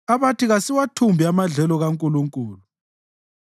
abathi, “Kasiwathumbe amadlelo kaNkulunkulu.”